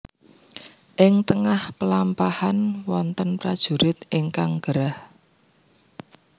Ing tengah pelampahan wonten prajurit ingkang gerah